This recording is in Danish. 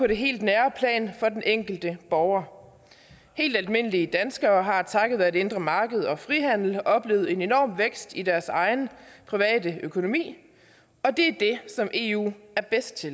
det helt nære plan for den enkelte borger helt almindelige danskere har takket være det indre marked og frihandel oplevet en enorm vækst i deres egen private økonomi og det det som eu er bedst til